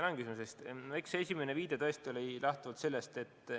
Tänan küsimuse eest!